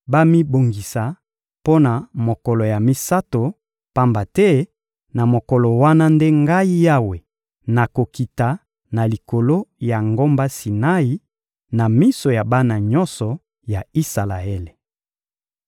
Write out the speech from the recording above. bamibongisa mpo na mokolo ya misato, pamba te na mokolo wana nde Ngai Yawe, nakokita na likolo ya ngomba Sinai, na miso ya bana nyonso ya Isalaele.